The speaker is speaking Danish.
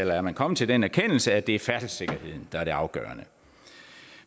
er man kommet til den erkendelse at det er færdselssikkerheden der er det afgørende